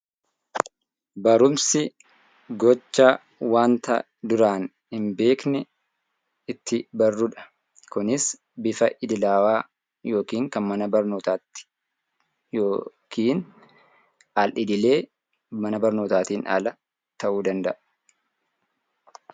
Barumsi gocha waanta duraan hin beekne Kunis bifa idilaawaa yookaan kan mana barnootaan ala ta'uu danda'a.